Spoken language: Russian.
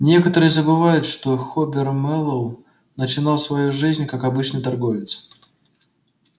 некоторые забывают что хобер мэллоу начинал свою жизнь как обычный торговец